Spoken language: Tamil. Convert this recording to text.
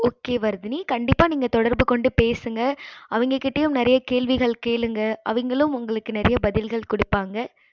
okay வர்த்தினி நீங்க தொடர்பு கொண்டு பேசுங்க